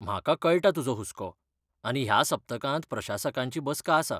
म्हाका कळटा तुजो हुस्को आनी ह्या सप्तांतांत प्रशासकांची बसका आसा.